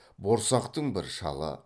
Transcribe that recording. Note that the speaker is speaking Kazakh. борсақтың бір шалы